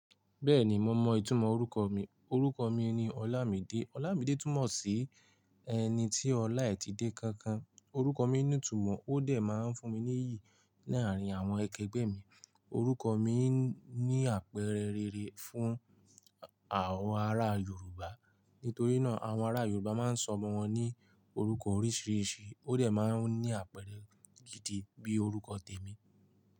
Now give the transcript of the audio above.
Bẹ́ẹ̀ni mo mọ ìtumọ̀ orúkọ mi. Orúkọ mi ni Ọlámídé. Ọlámídé túmọ̀ sí ẹni tí ọlá e ti dé kankan. Orúkọ mi ní ìtumọ̀, ó dẹ̀ máa ń fún mi ní iyì ní àárín àwọn akẹgbẹ́ mi. Orúkọ mi ní àpẹẹrẹ rere fún àwọn ará Yorùbá. Nítorí náà, àwọn ará Yorùbá máa ń sọmọ wọn ní orúkọ oríṣìíríṣìí, ó dẹ̀ máa ń ní àpẹẹrẹ gidi bí orúkọ tèmi.